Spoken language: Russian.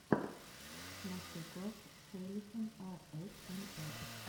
мастер класс хэйхелен аэсэмэр